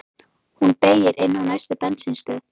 Hún beygir inn á næstu bensínstöð.